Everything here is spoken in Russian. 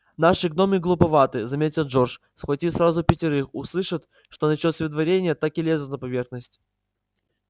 наши гномы глуповаты заметил джордж схватив сразу пятерых услышат что началось выдворение так и лезут на поверхность